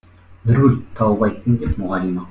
нұргүл тауып айттың деп мұғалима